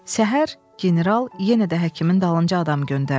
Səhər general yenə də həkimin dalınca adam göndərdi.